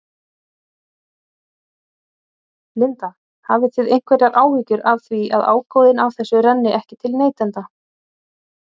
Linda: Hafið þið einhverjar áhyggjur af því að ágóðinn af þessu renni ekki til neytenda?